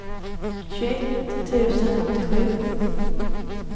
tjugoett tusen åttiosju